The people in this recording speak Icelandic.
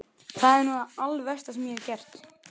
Það er nú það alversta sem ég hef gert.